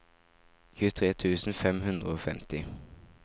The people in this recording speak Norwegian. tjuetre tusen fem hundre og femti